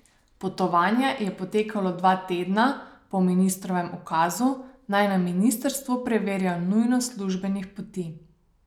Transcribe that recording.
Potovanje je potekalo dva tedna po ministrovem ukazu, naj na ministrstvu preverijo nujnost službenih poti.